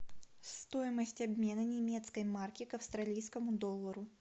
стоимость обмена немецкой марки к австралийскому доллару